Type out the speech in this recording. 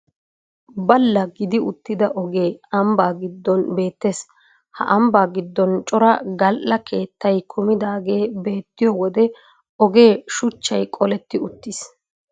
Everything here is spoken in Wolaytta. Balla gidi uttida ogee ambbaa gidon beettees. Ha ambbaa giddon cora gal"a keettay kumidaagee beettiyo wode ogee shuchchay qoletti uttiis